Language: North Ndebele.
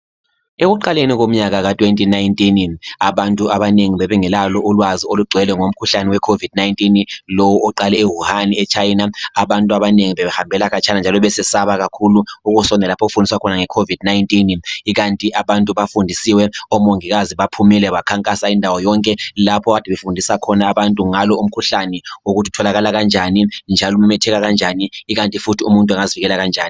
Ekuqaleni komnyaka ka-2019, abantu abanengi bebengelalo ulwazi olugcwele ngomkhuhlane we COVID-19, lowu oqale e-Wuhan, e-China. Abantu abanengi bebe hambela khatshana, njalo besesaba kakhulu ukusondela lapho okufundiswa khona nge COVID-19. Ikanti abantu bafundisiwe, omongikazi baphumile bakhankasa indawo yonke, lapho kade befundisa khona abantu ngalo umkhuhlani, ukuthi utholakala kanjani, njalo umemetheka kanjani, ikanti futhi umuntu angazivikela kanjani.